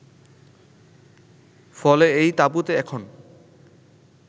ফলে এই তাবুতে এখন